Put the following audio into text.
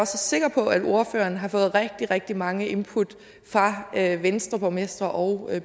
sikker på at ordføreren har fået rigtig rigtig mange input fra venstreborgmestre og